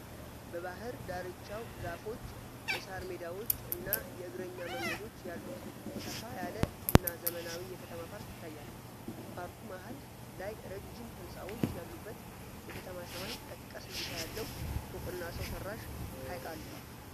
በባሕር ዳርቻው ዛፎች፣ የሣር ሜዳዎች እና የእግረኛ መንገዶች ያሉት ሰፋ ያለ እና ዘመናዊ የከተማ ፓርክ ይታያል። በፓርኩ መሃል ላይ ረጅም ሕንፃዎች ያሉበት የከተማ ሰማይ ጠቀስ እይታ ያለው ፎቅና ሰው ሠራሽ ሐይቅ አለ።